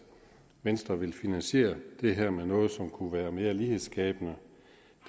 venstre vil finansiere det her med noget som kunne være mere lighedsskabende